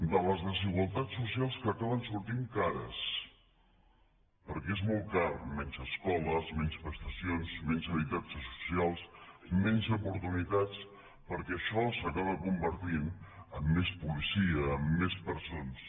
de les desigualtats socials que acaben sortint cares perquè és molt car menys escoles menys prestacions menys habitatges socials menys oportunitats perquè això s’acaba convertint en més policia en més presons